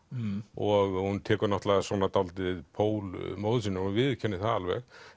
og hún tekur náttúrulega svolítið pól móður sinnar hún viðurkennir það alveg